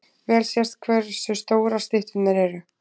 Vel sést hversu stórar stytturnar eru.